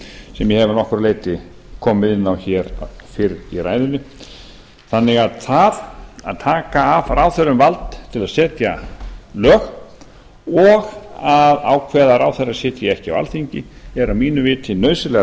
sem ég hef að nokkru leyti komið inn á í ræðu minni þannig að það að taka af ráðherrum vald til að setja lög og að ákveða að ráðherrar sitji ekki á alþingi er að mínu viti nauðsynlegar